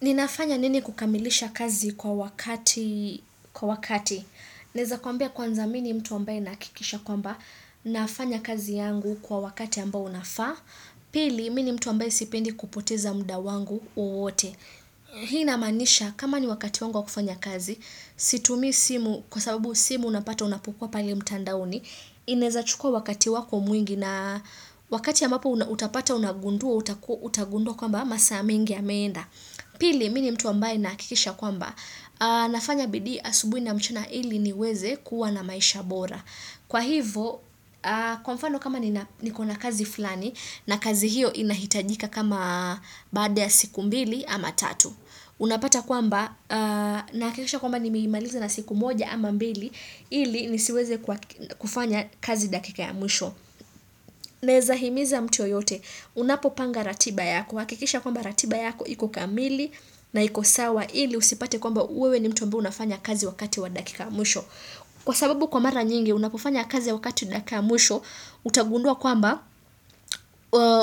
Ninafanya nini kukamilisha kazi kwa wakati, kwa wakati. Naeza kwambia kwanza mimi ni mtu ambaye nahakikisha kwamba nafanya kazi yangu kwa wakati ambao unafaa. Pili mimi ni mtu ambaye sipendi kupoteza muda wangu wowote. Hii ina manisha kama ni wakati wangu wakufanya kazi Situmi simu Kwa sababu simu unapata unapokua pale mtandaoni inaeza chukua wakati wako mwingi na wakati ambapo utapata unagundua utagundua kwamba masaa mengi yameenda Pili mimi ni mtu ambae nahakikisha kwamba Nafanya bidii asubuhi na mchana ili niweze kuwa na maisha bora kwahivo kwa mfano kama nikona kazi fulani na kazi hiyo inahitajika kama baada ya siku mbili ama tatu unapata kwamba nahakikisha kwamba nimeimaliza na siku moja ama mbili ili nisiweze kufanya kazi dakika ya mwisho Naeza himiza mtu yoyote Unapopanga ratiba yako hakikisha kwamba ratiba yako iko kamili na iko sawa ili usipate kwamba wewe ni mtu ambaye unayefanya kazi wakati wa dakika ya mwisho. Kwa sababu kwa mara nyingi unapofanya kazi wakati dakika ya mwisho utagundua kwamba